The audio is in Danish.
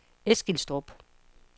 Eskilstrup